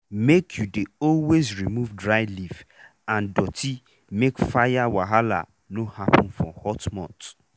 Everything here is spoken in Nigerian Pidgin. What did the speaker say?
make u dey always remove dry leaf and doti make fire wahala no happen for hot month